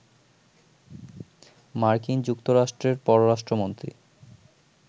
মার্কিন যুক্তরাষ্ট্রের পররাষ্ট্রমন্ত্রী